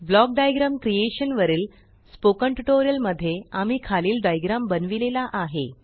block diagram creation वरील spoken tutorial मध्ये आम्ही खालील डाईग्राम बनवीलेला आहे